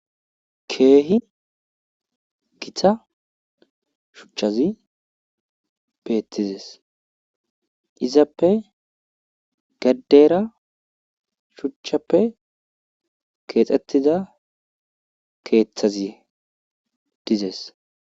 Keehi githa shuchazi beethizes izappe gedera shuchappe keexethida keethazi dizes.